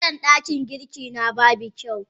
Fitilan dakin girki na babu kyau.